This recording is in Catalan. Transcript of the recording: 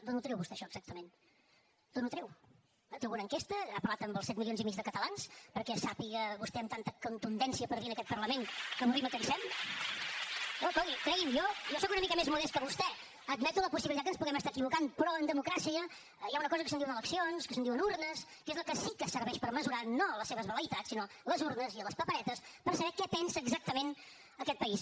d’on ho treu vostè això exactament d’on ho treu té alguna enquesta ha parlat amb els set milions i mig de catalans perquè sàpiga vostè amb tanta contundència per dir en aquest parlament que avorrim o cansem no cregui’m jo soc una mica més modest que vostè admeto la possibilitat que ens puguem estar equivocant però en democràcia hi ha una cosa que se’n diuen eleccions que se’n diuen urnes que és la que sí que serveix per mesurar no les seves vel·leïtats sinó les urnes i les paperetes per saber què pensa exactament aquest país